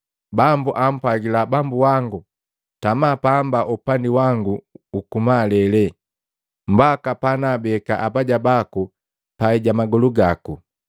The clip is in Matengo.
‘Bambu apwagila Bambu wangu, tama pamba upandi wangu uku malele, mbaki panaabeka abaja baku pai ja magolu gako.’